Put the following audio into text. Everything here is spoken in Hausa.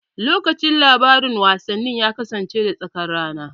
Lokacin labaran wasanni ya kasance da tsakar rana.